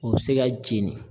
O be se ka jeni